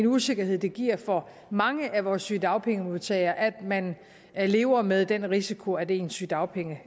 usikkerhed det giver for mange af vores sygedagpengemodtagere at man lever med den risiko at ens sygedagpenge